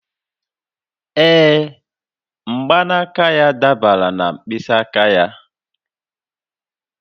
Ee, mgbanaka ha dabara na mkpịsị aka ha